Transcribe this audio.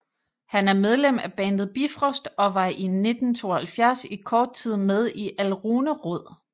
Han er medlem af bandet Bifrost og var i 1972 i kort tid med i Alrune Rod